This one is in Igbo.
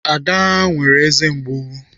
Ada nwere eze mgbụ.